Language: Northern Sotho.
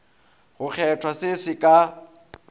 go kgethwa se se ka